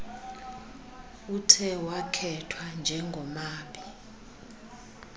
uthe wakhethwa njengomabi